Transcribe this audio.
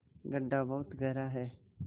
गढ्ढा बहुत गहरा है